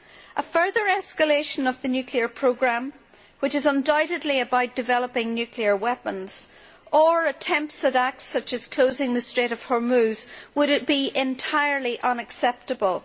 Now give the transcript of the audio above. A further escalation of the nuclear programme, which is undoubtedly about developing nuclear weapons, or attempts at acts such as closing the Strait of Hormuz, would be entirely unacceptable.